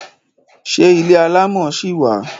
Ṣé ilé alámọ̀ ṣi wà?